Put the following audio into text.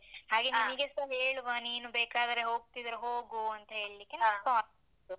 ಹಾಗೆ ಹೇಳುವ, ನೀನು ಬೇಕಾದ್ರೆ ಹೋಗ್ತಿದ್ರೆ ಹೋಗು ಅಂತೇಳಿಕ್ಕೆ .